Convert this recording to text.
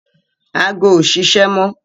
Ago ò ṣiṣẹ́ mọ